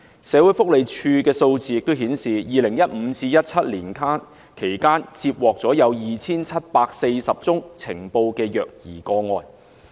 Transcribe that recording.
社會福利署的數字顯示 ，2015 年至2017年間，接獲 2,740 宗呈報的虐兒個案。